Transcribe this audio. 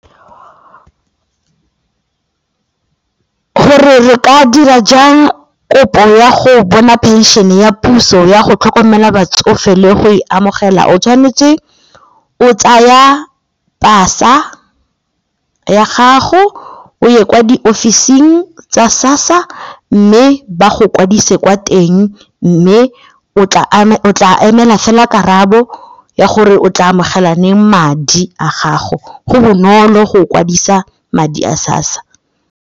Gore re ka dira jang kopo ya go bona pension-e ya puso ya go tlhokomela batsofe le go e amogela o tshwanetse o tsaya pasa ya gago, o ye kwa diofising tsa SASSA mme ba go kwadise kwa teng mme o tla tla emela fela karabo ya gore o tla amogela ane madi a gago, go bonolo go o kwadisa madi a SASSA.